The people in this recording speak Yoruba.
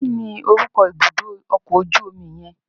Kí ni orúkọ ibùdó ọkọ̀ ojú omi yẹn?